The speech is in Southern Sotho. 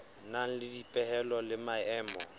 nang le dipehelo le maemo